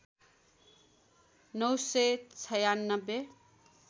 ९ सय ९६